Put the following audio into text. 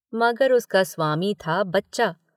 मगर उसका स्वामी था बच्चा।